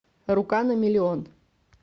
рука на миллион